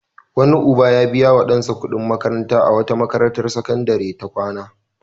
Wani uba ya biya wa ɗansa kuɗin makanta a wata makarantar sakandare ta kwana.